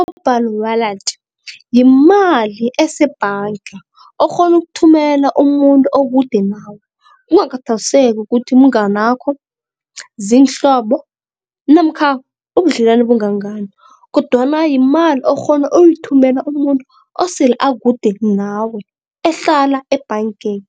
I-mobile wallet yimali esebhanga okghona ukuthumela umuntu okude nawe, kungakhathaliseki ukuthi mnganakho, ziinhlobo namkha ubudlelwane bungangani kodwana yimali okghona uyithumela umuntu osele akude nawe ehlala ebhangeni